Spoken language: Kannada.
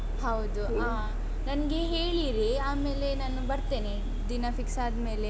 ಹೌದು ಹ ನಂಗೆ ಹೇಳಿರಿ ಆಮೇಲೆ ನಾನು ಬರ್ತೇನೆ, ದಿನ fix ಆದ್ಮೇಲೆ.